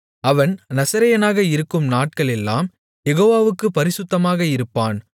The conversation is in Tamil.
அவன் நசரேயனாக இருக்கும் நாட்களெல்லாம் யெகோவாவுக்குப் பரிசுத்தமாக இருப்பான்